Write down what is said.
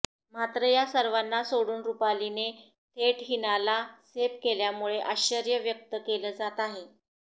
मात्र या सर्वांना सोडून रुपालीने थेट हीनाला सेफ केल्यामुळे आश्चर्य व्यक्त केलं जात आहे